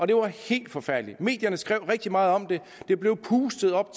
det var helt forfærdelig medierne skrev rigtig meget om det det blev pustet op